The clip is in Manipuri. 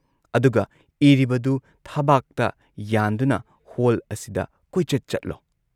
ꯑꯗꯨꯒ ꯏꯔꯤꯕꯗꯨ ꯊꯕꯥꯛꯇ ꯌꯥꯟꯗꯨꯅ ꯍꯣꯜ ꯑꯁꯤꯗ ꯀꯣꯏꯆꯠ ꯆꯠꯂꯣ ꯫